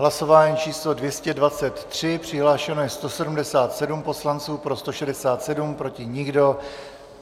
Hlasování číslo 223, přihlášeno je 177 poslanců, pro 167, proti nikdo.